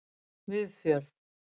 Viðfjörð